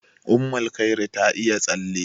Ummulkhairi ta iya tsalle.